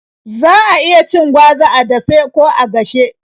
Za a iya cin gwaza ko a dafe ko a gashe.